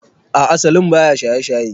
A'a salim baya shaye shaye